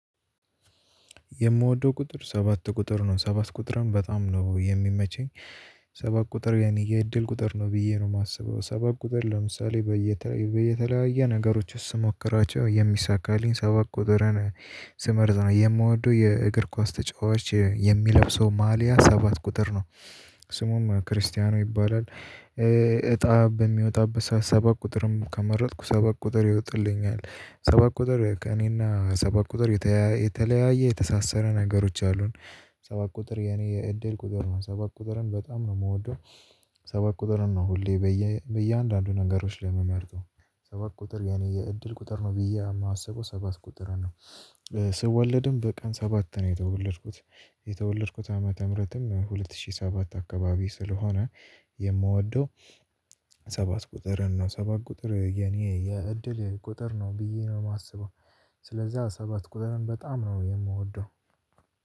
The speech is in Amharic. የምወደው ቁጥር ሰባት ቁጥር ነው። ሰባት ቁጥርን በጣም ነው የሚመቸኝ። ሰባት ቁጥር የኔ የእድል ቁጥር ነው ብዬ ነው የማስበው። ሰባት ቁጥር ለምሳሌ በይታዬ በየተለያየ ነገሮች ውስጥ ስሞክራቸው የሚሳካልኝ ሰባት ቁጥርን ስመርዝ ነው። የሚወደው የእግር ኳስ ተጫዋች የሚለብሰው ማልያ ሰባት ቁጥር ነው ስሙም ክርስቲያኖ ይባላል። እጣ በሚወጣበት ሰባት ቁጥርን ከመረጥኩ ሰባት ቁጥር ይወጣልኛል። ሰባት ቁጥር ከእኔና ሰባት ቁጥር የተያያ የተለያየ የተሳሰረ ነገሮች አሉን። ሰባት ቁጥር የኔ የእድል ቁጥር ነው። ሰባት ቁጥርን በጣም ነው የምወደው ሰባት ቁጥርን ነው ሁሌ በየ በየአንዳንዱ ነገሮች ላይ የምመርጠው። ሰባት ቁጥር የኔ የእድል ቁጥር ነው ብዬ የማስበው ሰባት ቁጥርን ነው። ስወለድም በቀን ሰባት ነው የተወለድኩት። የተወለድኩት ዓመተ ምህረትም በሁለት ሺህ ሰባት አካባቢ ስለሆነ የምወደው ሰባት ቁጥርን እና ሰባት ቁጥር የኔ የእድል ቁጥር ነው ብዬ ነው የማስበው ስለዚያ ሰባት ቁጥርን በጣም ነው የምወደው።